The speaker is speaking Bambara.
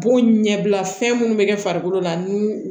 Bon ɲɛbila fɛn munnu be kɛ farikolo la n'u